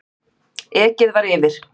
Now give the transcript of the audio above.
Ekið var yfir